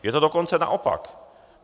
Je to dokonce naopak.